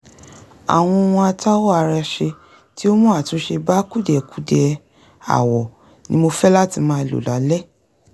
àwọn ohun atáwọ ara ṣe tí ó mú àtúnṣe bá kùdìẹ̀kudiẹ awọ ni mo fẹ́ láti máa lò lálẹ́